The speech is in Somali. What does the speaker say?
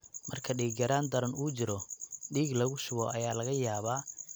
Marka dhiig-yaraan daran uu jiro, dhiig lagu shubo ayaa laga yaabaa inay lagama maarmaan noqoto.